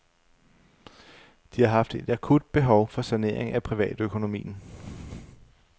De har haft et akut behov for sanering af privatøkonomien.